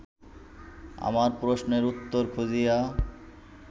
আমার প্রশ্নের উত্তর খুঁজিয়া